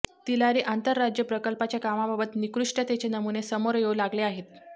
तिलारी आंतर राज्य प्रकल्पाच्या कामाबाबत निकृष्टतेचे नमुने समोर येऊ लागले आहेत